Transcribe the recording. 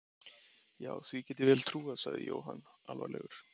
Já, því get ég vel trúað sagði Jóhann alvarlegur.